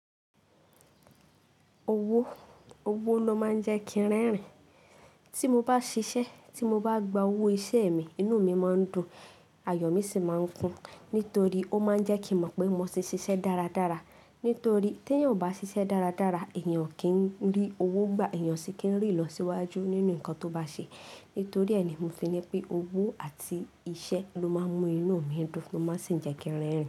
Owó, owó ló máa ń jẹ́ kí n rẹ́rìn. Tí mo bá ṣiṣẹ́, tí mo bá gba owó iṣẹ́ mi, inú mi máa ń dùn, ayọ̀ mi sì máa ń kún. Nítorí ó máa ń jẹ́ kí n mọ̀ pé mo ti ṣiṣẹ́ dáradára. Nítorí tè èèyàn ọ̀ bá ṣiṣẹ́ dáradára, èèyàn kì í rí owó gbà, èèyàn sì kì í rí ìlọsíwájú nínú nǹkan tó bá ṣe. Nítorí ẹ ni mó fi ni pé owó àti iṣẹ́ ló máa ń mú inú mi dùn ló máa sì ń jẹ́ kí n rẹ́rìn.